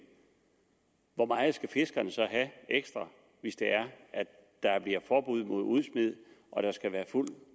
hvor meget skal fiskerne så have ekstra hvis det er der bliver forbud mod udsmid og der skal være fuld